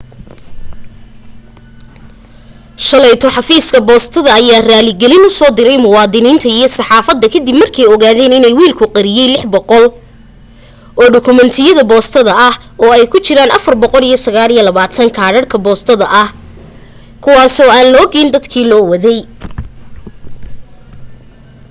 shalayto xafiiska boostada ayaa raaligelin u soo diray muwaadiniinta iyo saxaafadda ka dib markay ogaadeen in wiilku qariyay 600 oo dukumeentiyada boostada ah oo ay ku jiraan 429 kaadhadhka boostada ah kuwaasoo aan loo geyn dadkii loo waday